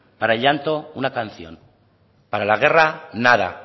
para el llanto una canción para la guerra nada